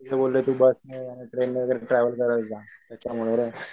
ते बोलले कि बसने नाहीतर ट्रेन ने ट्रॅव्हल करत जा त्याच्यामुळे रे